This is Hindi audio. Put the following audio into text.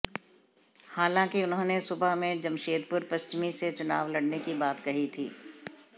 हालांकि उन्होंने सुबह में जमशेदपुर पश्चिमी से चुनाव लड़ने की बात कही थी